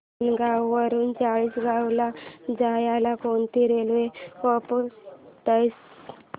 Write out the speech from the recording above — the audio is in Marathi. आसनगाव वरून चाळीसगाव ला जायला कोणती रेल्वे पकडायची